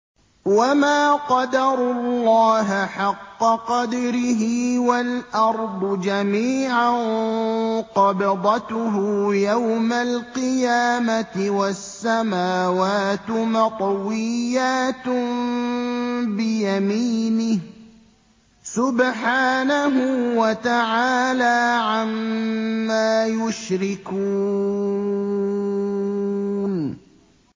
وَمَا قَدَرُوا اللَّهَ حَقَّ قَدْرِهِ وَالْأَرْضُ جَمِيعًا قَبْضَتُهُ يَوْمَ الْقِيَامَةِ وَالسَّمَاوَاتُ مَطْوِيَّاتٌ بِيَمِينِهِ ۚ سُبْحَانَهُ وَتَعَالَىٰ عَمَّا يُشْرِكُونَ